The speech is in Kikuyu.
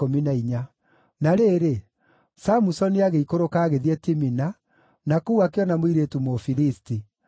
Na rĩrĩ, Samusoni agĩikũrũka agĩthiĩ Timina, na kũu akĩona mũirĩtu Mũfilisti.